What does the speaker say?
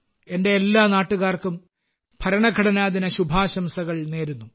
എന്റെ എല്ലാ നാട്ടുകാർക്കും ഭരണഘടനാ ദിന ശുഭാശംസകൾ നേരുന്നു